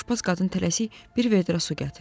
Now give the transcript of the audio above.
Sonra aşbaz qadın tələsik bir vedrə su gətirdi.